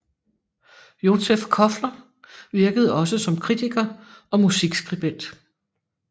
Józef Koffler virkede også som kritiker og musikskribent